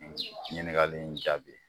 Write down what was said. ɲiniŋali in jaabi ye.